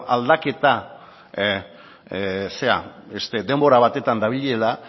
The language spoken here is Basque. aldaketa denbora batetan dabilela